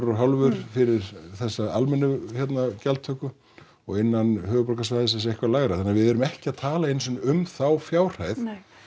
og hálfan fyrir þessa almennu gjaldtöku og innan höfuðborgarsvæðisins eitthvað lægra þannig við erum ekki að tala einu sinni um þá fjárhæð